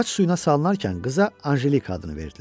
Xaç suyuna salınarkən qıza Anjelika adını verdilər.